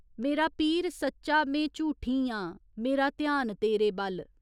मेरा पीर सच्चा में झूठी आं मेरा ध्यान तेरे बल्ल।